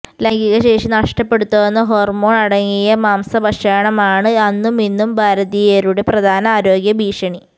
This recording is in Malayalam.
ലൈംഗിക ശേഷി നഷ്ടപ്പെടുത്തുന്ന ഹോർമോൺ അടങ്ങിയ മാംസഭക്ഷണം ആണ് അന്നും ഇന്നും ഭാരതീയരുടെ പ്രധാന ആരോഗ്യ ഭീഷണി